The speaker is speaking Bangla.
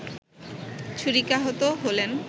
ছুরিকাহত হলেন